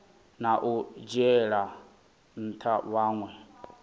na u dzhiela ntha vhanwe